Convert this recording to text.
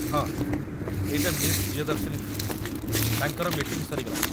ହଁ, ଏଇଟା ମିସ୍ ପ୍ରିୟଦର୍ଶିନୀ ଥିଲେ, ତାଙ୍କର ମିଟିଂ ସରିଗଲାଣି ।